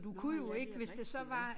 Nårh ja det rigtigt ja